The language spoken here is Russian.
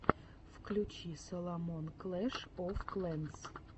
включи саломон клэш оф клэнс